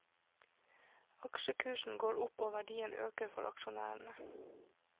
Aksjekursen går opp og verdiene øker for aksjonærene.